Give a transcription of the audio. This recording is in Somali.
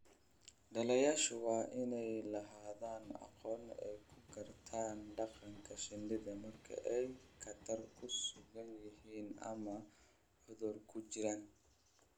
Dhallayaashu waa inay lahaadaan aqoon ay ku gartaan dhaqanka shinnida marka ay khatar ku sugan yihiin ama cudurku ku jiraan.